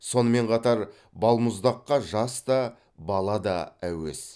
сонымен қатар балмұздаққа жас та бала да әуес